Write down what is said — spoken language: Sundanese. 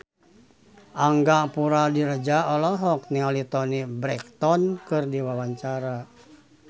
Angga Puradiredja olohok ningali Toni Brexton keur diwawancara